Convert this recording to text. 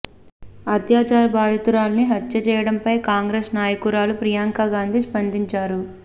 అత్యాచార బాధితురాలిని హత్య చేయడంపై కాంగ్రెస్ నాయకురాలు ప్రియాంకా గాంధీ స్పందించారు